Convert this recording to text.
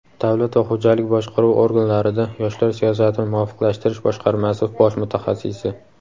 Davlat va xo‘jalik boshqaruv organlarida yoshlar siyosatini muvofiqlashtirish boshqarmasi bosh mutaxassisi.